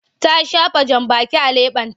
Ta shafa jambaki a leɓenta.